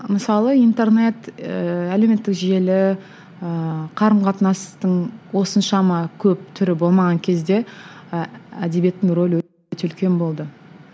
мысалы интернет ііі әлеуметтік желі ііі қарым қатынастың осыншама көп түрі болмаған кезде әдебиеттің рөлі үлкен болды